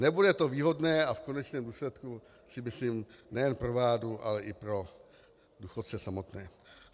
Nebude to výhodné, a v konečném důsledku si myslím nejen pro vládu, ale i pro důchodce samotné.